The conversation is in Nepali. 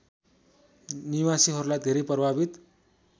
निवासीहरूलाई धेरै प्रभावित